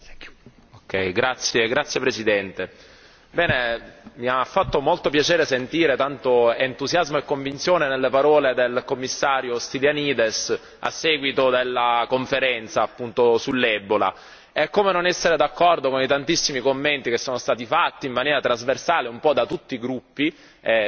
Signor Presidente, onorevoli colleghi, mi ha fatto molto piacere sentire tanto entusiasmo e convinzione nelle parole del Commissario Stylianides a seguito della conferenza sull'Ebola. Come non essere d'accordo con i tantissimi commenti che sono stati fatti in maniera trasversale un po' da tutti i gruppi,